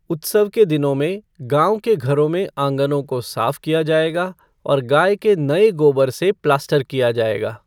उत्सव के दिनों में, गाँव के घरों में आँगनों को साफ किया जाएगा और गाय के नए गोबर से प्लास्टर किया जाएगा।